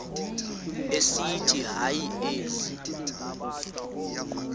esithi hayi ezi